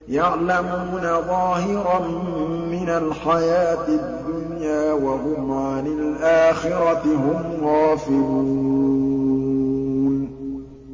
يَعْلَمُونَ ظَاهِرًا مِّنَ الْحَيَاةِ الدُّنْيَا وَهُمْ عَنِ الْآخِرَةِ هُمْ غَافِلُونَ